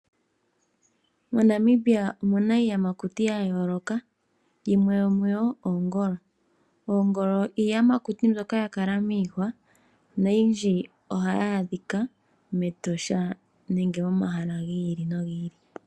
MoNamibia omuna iiyamakuti ya yooloka yimwe yomuyo oongolo. Oongolo iiyamakuti mbyoka ya kala miihwa noyindji ohayi adhika Etosha nenge momahala gi ili nogi ili.